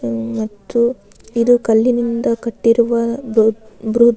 ಹಮ್ಮ್ ಮತ್ತು ಇದು ಕಲ್ಲಿನಿಂದ ಕಟ್ಟಿರುವ ದೊಡ್ಡ್ --